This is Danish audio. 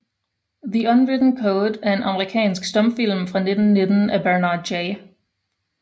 The Unwritten Code er en amerikansk stumfilm fra 1919 af Bernard J